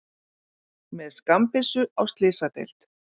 Með skammbyssu á slysadeild